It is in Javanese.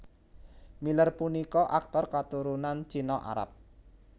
Miller punika aktor katurunan China Arab